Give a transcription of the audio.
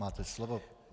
Máte slovo.